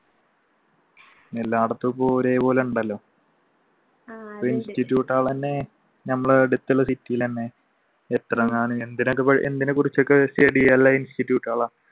എല്ലായിടത്തും ഇപ്പൊ ഒരേ പോലെ ഉണ്ടല്ലോ institute കൾ തന്നെ നമ്മളുടെ അടുത്തുള്ള city ഇൽ തന്നെ